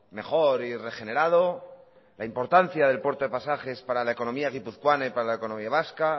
mejor y regenerado la importancia del puerto de pasajes para la economía guipuzcoana y para la economía vasca